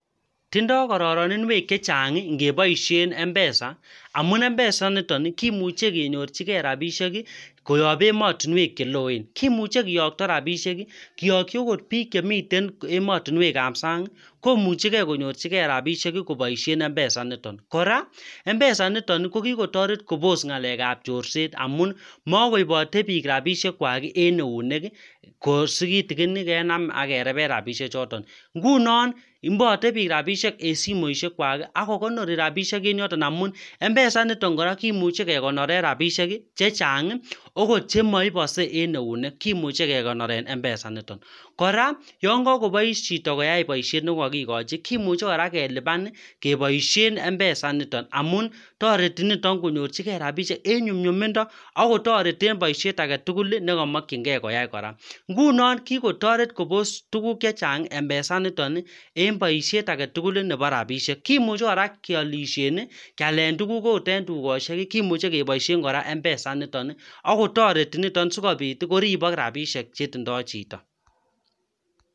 Tindoi kororoninwek chechang' ngeboishen mpesa